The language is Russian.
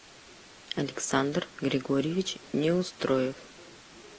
александр григорьевич неустроев